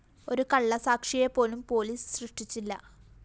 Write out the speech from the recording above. ഒരു കള്ളസാക്ഷിയെപ്പോലും പൊലീസ് സൃഷ്ടിച്ചില്ല